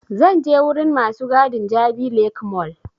Zan je wurin masu gadin jabi lake mall